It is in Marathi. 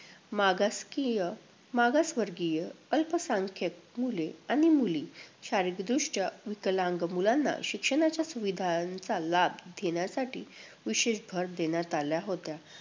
मागासकीय~ मागासवर्गीय, अल्पसंख्यांक मुले आणि मुली शारीरिकदृष्ट्या विकलांग मुलांना शिक्षणाच्या सुविधांचा लाभ देण्यासाठी विशेष भर देण्यात आला होता.